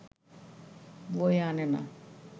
বয়ে আনে না